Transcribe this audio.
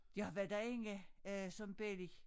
Jeg var derinde øh som belli